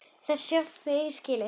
Þá sem þeir eiga skilið.